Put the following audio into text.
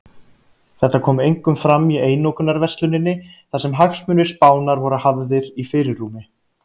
Þetta kom einkum fram í einokunarversluninni þar sem hagsmunir Spánar voru hafði í fyrirrúmi.